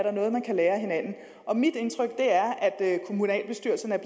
er noget man kan lære af hinanden mit indtryk er at kommunalbestyrelserne er